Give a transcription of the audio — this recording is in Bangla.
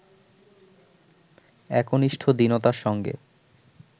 একনিষ্ঠ দীনতার সঙ্গে